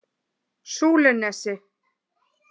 Súlunesi